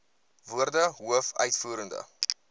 woorde hoof uitvoerende